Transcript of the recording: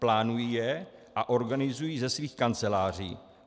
Plánují je a organizují ze svých kanceláří.